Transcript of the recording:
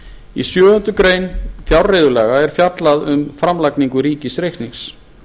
í sjöundu greinar fjárreiðulaga er fjallað um framlagningu ríkisreiknings